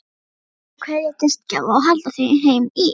Eftir er að kveðja gestgjafa og halda heim í